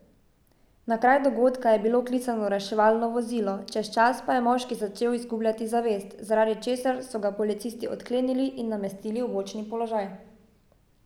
Na kraj dogodka je bilo klicano reševalno vozilo, čez čas pa je moški začel izgubljati zavest, zaradi česar so ga policisti odklenili in namestili v bočni položaj.